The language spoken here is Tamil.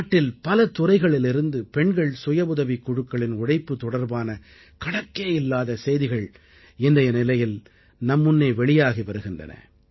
நாட்டில் பல துறைகளிலிருந்து பெண்கள் சுயவுதவிக் குழுக்களின் உழைப்பு தொடர்பான கணக்கே இல்லாத செய்திகள் இன்றைய நிலையில் நம் முன்னே வெளியாகி வருகின்றன